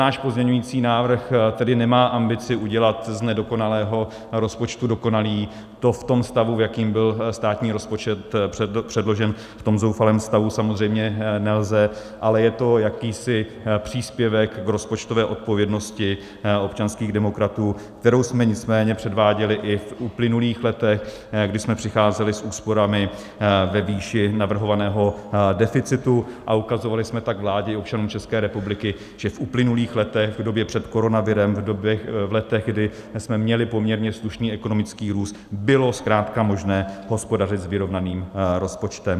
Náš pozměňující návrh tedy nemá ambici udělat z nedokonalého rozpočtu dokonalý, to v tom stavu, v jakém byl státní rozpočet předložen, v tom zoufalém stavu, samozřejmě nelze, ale je to jakýsi příspěvek v rozpočtové odpovědnosti občanských demokratů, kterou jsme nicméně předváděli i v uplynulých letech, kdy jsme přicházeli s úsporami ve výši navrhovaného deficitu, a ukazovali jsme tak vládě i občanům České republiky, že v uplynulých letech, v době před koronavirem, v letech, kdy jsme měli poměrně slušný ekonomický růst, bylo zkrátka možné hospodařit s vyrovnaným rozpočtem.